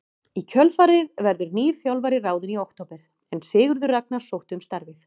Í kjölfarið verður nýr þjálfari ráðinn í október en Sigurður Ragnar sótti um starfið.